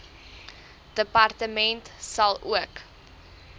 departement sal ook